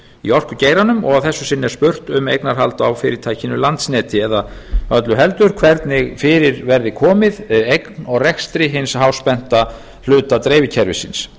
í orkugeiranum og að þessu sinni er spurt um eignarhald á fyrirtækinu landsneti eða öllu heldur hvernig fyrir verði borð eign og rekstri hins háspennta hluta dreifikerfisins